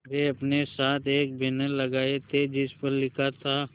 वे अपने साथ एक बैनर लाए थे जिस पर लिखा था